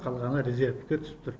қалғаны резервке түсіп тұр